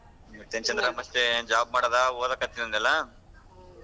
ಮತ್ತೆ ಏನ್ ಚಂದ್ರ ಮತ್ತೆ job ಮಾಡದಾ ಓದಕ್ಕತ್ತಿನ್ ಅಂದೆ ಅಲ್ಲಾ?